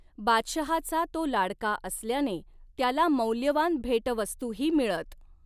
बादशहाचा तो लाडका असल्याने त्याला मौल्यवान भेटवस्तूही मिळत.